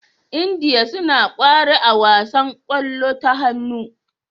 India suna kware a wasan kwallo ta hannu